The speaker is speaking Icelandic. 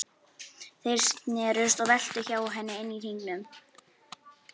Þeir snerust og veltust hjá henni inni í hringnum.